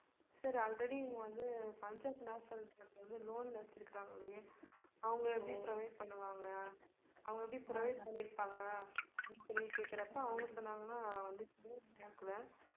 sir already நீங்க வந்து Punjab national பேங்க்ல வந்து loan ல வெச்சிருக்காங்களே அவங்க எப்படி provide பண்ணுவாங்க அவங்க எப்படி provide பண்ணிருப்பாங்க அப்படின்னு சொல்லி கேக்கறப்ப அவங்க சொன்னாங்கனா வந்து private bank ல